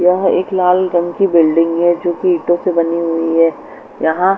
यह एक लाल रंग की बिल्डिंग है जो ईंटों से बनी हुई है यहां--